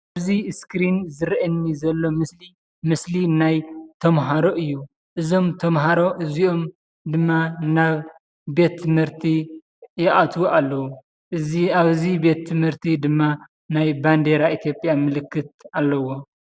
እዚ እስክሪን ዝርአየኒ ዘሎ ምስሊ ምስሊ ናይ ተመሃሮ እዩ፡፡ እዞም ተመሃሮ እዚኦም ድማ ናብ ቤት ትምህርቲ ይኣትዉ ኣለዉ፡፡ እዚ ኣብዚ ቤት ትምህርቲ ድማ ናይ ባንዲራ ኢትዮጵያ ምልክት ኣለዎ፡፡